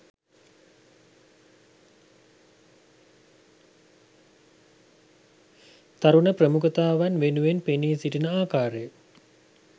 තරුණ ප්‍රමුඛතාවන් වෙනුවෙන් පෙනී සිටින ආකාරය